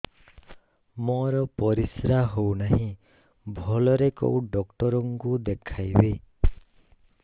ମୋର ପରିଶ୍ରା ହଉନାହିଁ ଭଲରେ କୋଉ ଡକ୍ଟର କୁ ଦେଖେଇବି